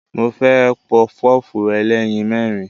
Mo fẹ́ Pọpọ́ọ̀fù ẹlẹ́yin mẹ́rin.